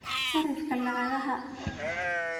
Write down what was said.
sarifka lacagaha